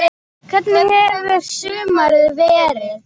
Hvernig hefur sumarið verið?